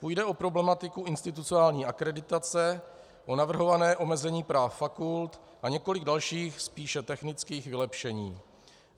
Půjde o problematiku institucionální akreditace, o navrhované omezení práv fakult a několik dalších, spíše technických vylepšení.